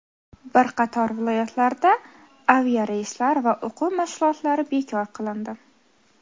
Bir qator viloyatlarda aviareyslar va o‘quv mashg‘ulotlari bekor qilindi.